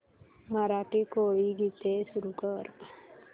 मराठी कोळी गीते सुरू कर